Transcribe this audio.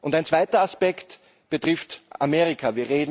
Ein zweiter Aspekt betrifft Amerika.